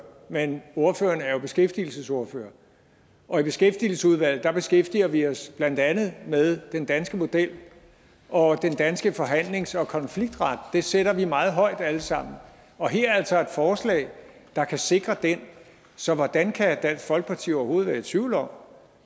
men ordføreren er jo beskæftigelsesordfører og i beskæftigelsesudvalget beskæftiger vi os blandt andet med den danske model og den danske forhandlings og konfliktret det sætter vi meget højt alle sammen og her er altså et forslag der kan sikre den så hvordan kan dansk folkeparti overhovedet være i tvivl om